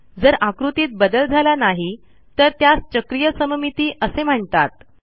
जर आकृतीत बदल झाला नाही तर त्यास चक्रीय सममिती असे म्हणतात